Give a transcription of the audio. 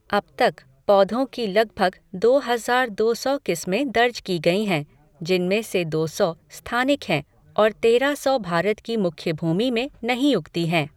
अब तक, पौधों की लगभग दो हज़ार दो सौ किस्में दर्ज की गई हैं, जिनमें से दो सौ स्थानिक हैं और तेरह सौ भारत की मुख्य भूमि में नहीं उगती हैं।